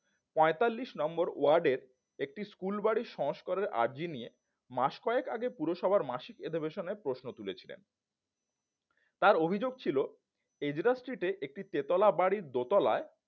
পঁয়তাল্লিশ নম্বর ওয়ার্ডের একটি স্কুল বাড়ি সংস্কারের আরজি নিয়ে মাস কয়েক আগে পুরসভার মাসিক এধবেশনে প্রশ্ন তুলেছিলেন তার অভিযোগ ছিল এজরো street এ একটি তেতলা বাড়ির দোতালায়